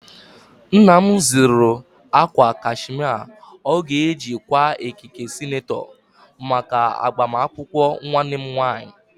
Nna m zụrụ akwa kashmia ọ ga-eji kwaa ekike senetọ maka agbamakwụkwọ nwannem nwaanyị.